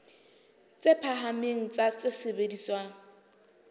tse phahameng tsa tse sebediswang